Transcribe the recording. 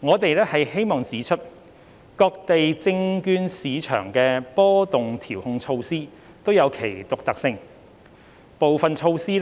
我們希望指出，各地證券市場的波動調控措施均具其獨特性，部分措施